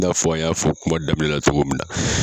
I n'a fɔ an y'a fɔ kuma daminɛ na cogo min na.